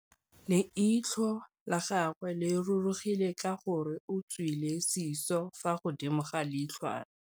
Leitlhô la gagwe le rurugile ka gore o tswile sisô fa godimo ga leitlhwana.